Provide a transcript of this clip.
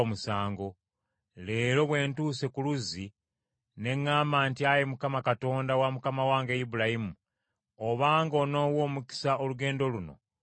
“Leero bwe ntuuse ku luzzi, ne ŋŋamba nti, ‘Ayi Mukama , Katonda wa mukama wange Ibulayimu, obanga onoowa omukisa olugendo luno lwe ndiko,